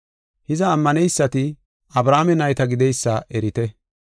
Hiza, ammaneysati Abrahaame nayta gideysa erite.